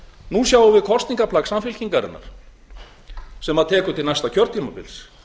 nú sjáum við kosningaplagg samfylkingarinnar sem tekur til næsta kjörtímabils